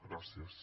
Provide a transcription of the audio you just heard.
gràcies